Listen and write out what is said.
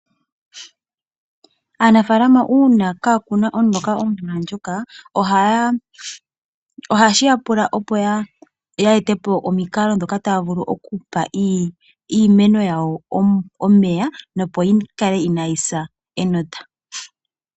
Aanafalama uuna kaa kuna omloka gwa gwana nawa omvula ndjoka, ohayshi ya tula opo ya etepo omikalo dhika taya vulu okupa iimeno yawo omeya nopo yi kale inaa yisa enota.